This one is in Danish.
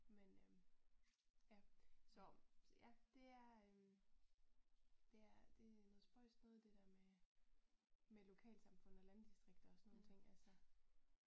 Men øh ja så så ja det er det er det noget spøjst noget det der med med lokalsamfund og landdistrikter og sådan nogle ting altså